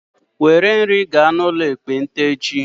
Were nri gaa n'ụlọ ekpenta echi!